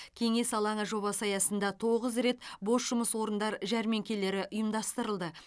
кеңес алаңы жобасы аясында тоғыз рет бос жұмыс орындар жәрмеңкелері ұйымдастырылды